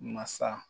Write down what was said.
Masa